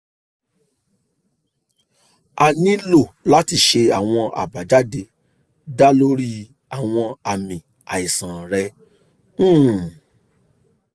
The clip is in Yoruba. a nilo lati ṣe awọn abajade da lori awọn aami aisan rẹ um